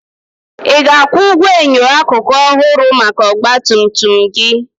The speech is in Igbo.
Ị ga-akwụ ụgwọ enyo akụkụ ọhụrụ maka ọgba tum tum gị?